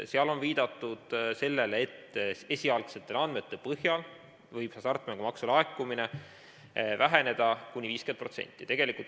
Seal on viidatud sellele, et esialgsete andmete põhjal võib hasartmängumaksu laekumine väheneda kuni 50%.